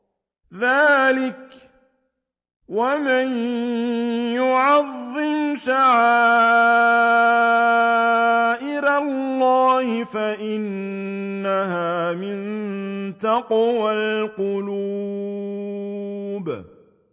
ذَٰلِكَ وَمَن يُعَظِّمْ شَعَائِرَ اللَّهِ فَإِنَّهَا مِن تَقْوَى الْقُلُوبِ